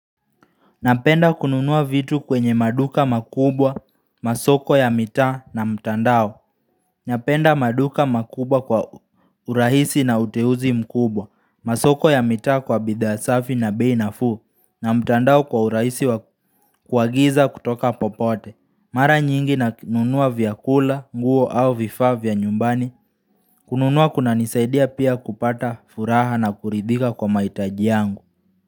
Napenda kununua vitu kwenye maduka makubwa, masoko ya mitaa na mtandao Napenda maduka makubwa kwa urahisi na uteuzi mkubwa masoko ya mitaa kwa bidhaa safi na bei nafuu na mtandao kwa urahisi wa kuagiza kutoka popote Mara nyingi nanununua vyakula, nguo au vifaa vya nyumbani kununua kunanisaidia pia kupata furaha na kuridhika kwa mahitaji yangu.